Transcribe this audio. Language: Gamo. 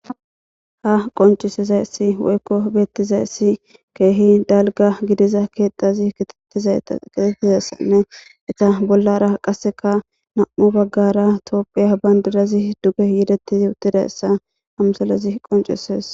Ha qoncizayisi woyiko betizayisi kehi daligga gidiza kethazi kexetizayisa dee'esinne etta bollara qassika namu'u baggara tophiya bandirazi duge yedetidi utidaya ha misilezi qonchisaesi